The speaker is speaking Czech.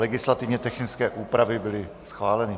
Legislativně technické úpravy byly schváleny.